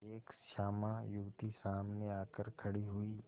एक श्यामा युवती सामने आकर खड़ी हुई